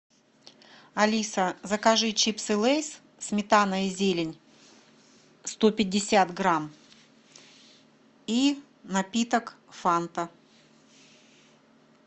алиса закажи чипсы лейс сметана и зелень сто пятьдесят грамм и напиток фанта